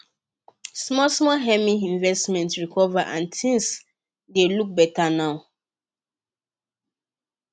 small small emma investment recover and things dey look beta now